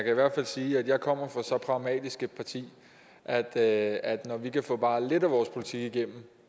i hvert fald sige at jeg kommer fra så pragmatisk et parti at at når vi kan få bare lidt af vores politik igennem